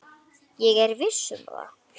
Ég er viss um það.